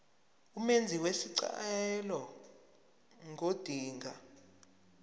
umenzi wesicelo ngodinga